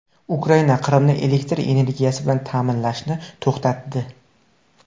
Ukraina Qrimni elektr energiyasi bilan ta’minlashni to‘xtatdi.